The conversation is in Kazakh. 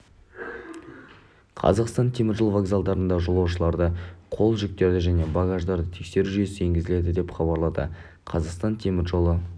қазақстанның теміржол вокзалдарында жолаушыларды қол жүктерді және багаждарды тексеру жүйесі енгізіледі деп хабарлады қазақстан темір жолы